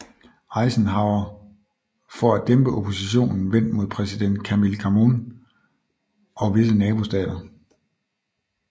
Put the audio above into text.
Eisenhower for at dæmpe oppositionen vendt mod præsident Camille Chamoun og visse nabostater